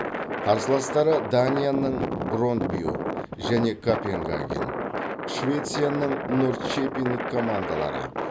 қарсыластары данияның брондбю және копенгаген швецияның норрчепинг командалары